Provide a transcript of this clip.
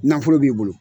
Nafolo b'i bolo